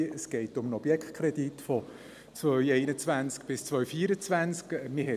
Es geht um einen Objektkredit von 2021 bis 2024.